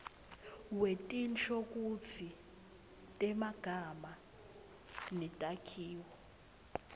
wetinshokutsi temagama netakhiwo